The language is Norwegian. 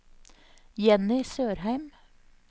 Jenny Sørheim